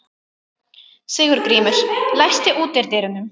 Sigurgrímur, læstu útidyrunum.